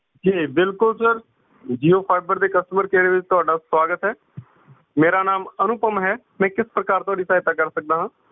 ਜੀ ਬਿਲਕੁਲ sir jio fiber ਦੇ customer care ਵਿੱਚ ਤੁਹਾਡਾ ਸੁਆਗਤ ਐ ਮੇਰਾ ਨਾਮ ਅਨੁਪਮ ਹੈ ਮੈਂ ਕਿਸ ਪ੍ਰਕਾਰ ਤੁਹਾਡੀ ਸਹਾਇਤਾ ਕਰ ਸਕਦਾ ਹਾਂ?